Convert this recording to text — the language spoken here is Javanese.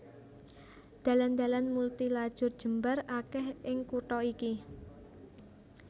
Dalan dalan multi lajur jembar akèh ing kutha iki